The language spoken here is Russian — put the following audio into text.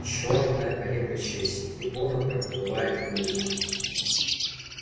чёрная колеблющаяся трибуна проплывает мимо